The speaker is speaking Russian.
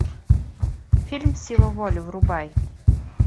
фильм сила воли врубай